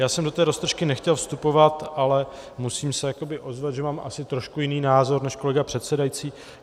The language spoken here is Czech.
Já jsem do té roztržky nechtěl vstupovat, ale musím se ozvat, že mám asi trošku jiný názor než kolega předsedající.